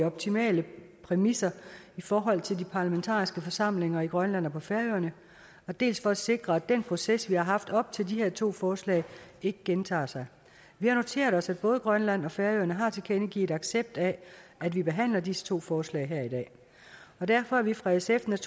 optimale præmisser i forhold til de parlamentariske forsamlinger i grønland og på færøerne dels for at sikre at den proces vi har haft op til de her to forslag ikke gentager sig vi har noteret os at både grønland og færøerne har tilkendegivet accept af at vi behandler disse to forslag her i dag og derfor er vi fra sfs